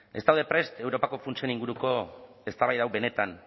ez daude prest europako funtsen inguruko eztabaida hau benetan